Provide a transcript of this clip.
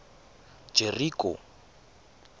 jeriko